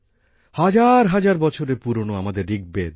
হাজার হাজার বছরের পুরনো আমাদের ঋগ্বেদ